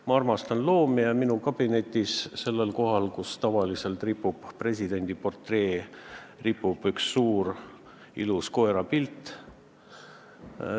Ma armastan loomi ja minu kabinetis ripub sellel kohal, kus tavaliselt ripub presidendi portree, üks suur ilus koerapilt.